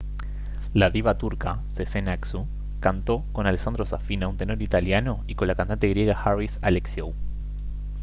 la diva turca sezen aksu cantó con alessandro safina un tenor italiano y con la cantante griega haris alexiou